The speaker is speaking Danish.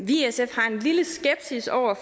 i sf har en lille skepsis over